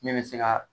Min bɛ se ka